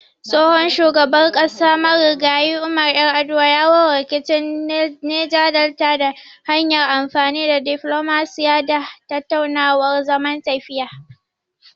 Tsohon shugaban ƙasa Marigayi Umar Yar'aduwa ya warware rikicin Neja Delta ta hanyar amfani da diflomasiyya da tattaunawar zaman lafiya.